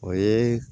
O ye